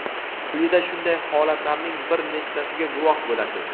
Quyida shunday holatlarning bir nechtasiga guvoh bo‘lasiz.